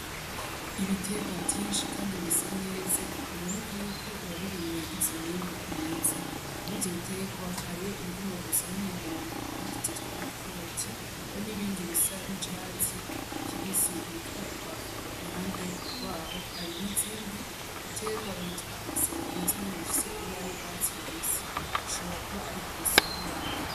Ibiterwa vyinshi, kandi bisa neza biboneka yuko uwabirimye yagize umwimbu mwiza muri ivyo biterwa hariyo ibigoma gusa n'umuhondo ari vyo vyitwa amakaroti hari n'ibindi bisa nk'icatsi kibisi bitwa ipoivro, iruhande rwaho hari n'izindi biterwa bitwa amasereri nazo nyene zifise ibara y'urwatsi rubisi, hashobora kuba ari kw'isoko yavyo.